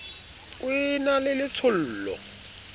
o e na le letshollo